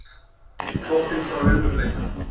Flóttinn frá raunveruleikanum.